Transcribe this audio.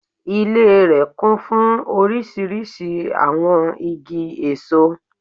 Ilé rè kún fún orísirísi àwon igi èso